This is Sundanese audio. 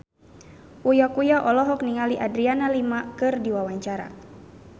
Uya Kuya olohok ningali Adriana Lima keur diwawancara